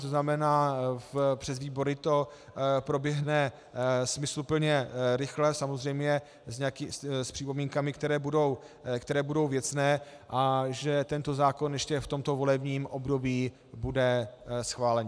To znamená, přes výbory to proběhne smysluplně, rychle, samozřejmě s připomínkami, které budou věcné, a že tento zákon ještě v tomto volebním období bude schválen.